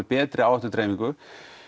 betri áhættudreifingu